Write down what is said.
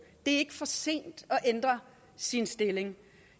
det er ikke for sent at ændre sin stilling